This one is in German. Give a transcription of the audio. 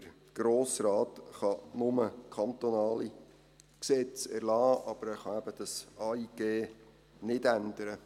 Der Grosse Rat kann nur kantonale Gesetze erlassen, aber er kann eben dieses AIG nicht ändern.